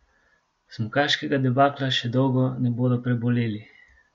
Smukaškega debakla še dolgo ne bodo preboleli.